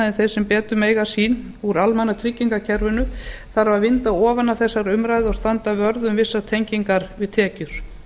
en þeir sem betur mega sín úr almannatryggingakerfinu þarf að vinda ofan af þessari umræðu og standa vörð um vissar tengingar við tekjur